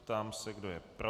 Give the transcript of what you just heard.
Ptám se, kdo je pro.